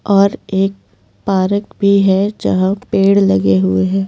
और एक पारक भी है जहां पेड़ लगे हुए हैं।